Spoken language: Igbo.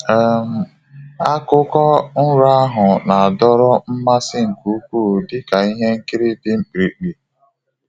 um Akụkọ nrọ ahụ na-adọrọ mmasị nke ukwuu dị ka ihe nkiri dị mkpirikpi.